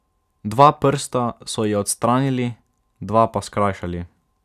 Dva prsta so ji odstranili, dva pa skrajšali.